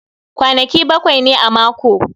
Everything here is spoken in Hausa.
Kwanaki baƙwai ne a mako